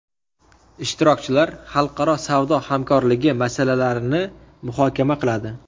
ishtirokchilar xalqaro savdo hamkorligi masalalarini muhokama qiladi.